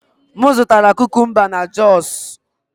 M zụtara kukumba na jos